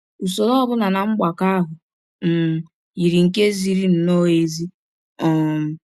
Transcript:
Usọrọ ọ bụla na mgbakọ ahụ um yiri nke ziri nnọọ ezi. um